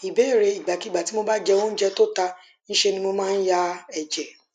ìbéèrè ìgbàkigbà tí mo bá jẹ oúnjẹ tó ta ńṣe ni mo maa n ya eje